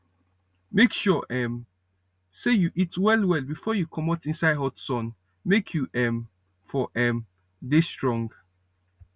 make sure um say you eat well well befor you comot inside hot sun make u um for um dey strong